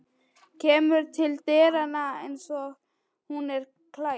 Kemur til dyranna einsog hún er klædd.